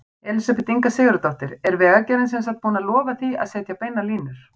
Elísabet Inga Sigurðardóttir: Er Vegagerðin sem sagt búin að lofa því að setja beinar línur?